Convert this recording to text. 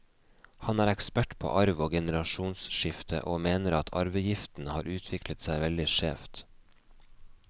Han er ekspert på arv og generasjonsskifte, og mener at arveavgiften har utviklet seg veldig skjevt.